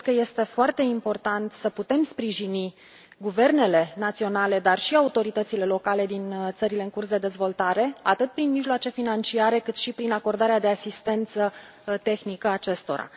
Cred că este foarte important să putem sprijini guvernele naționale, dar și autoritățile locale din țările în curs de dezvoltare, atât prin mijloace financiare, cât și prin acordarea de asistență tehnică acestora.